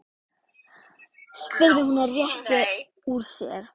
spurði hún og rétti úr sér.